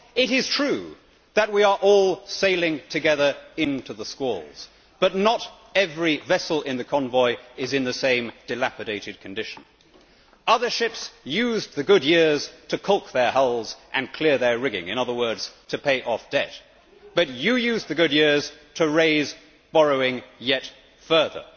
It is true that we are all sailing together into the squalls, but not every vessel in the convoy is in the same dilapidated condition. Other ships used the good years to caulk their hulls and clear their rigging in other words, to pay off debt but you used the good years to raise borrowing yet further.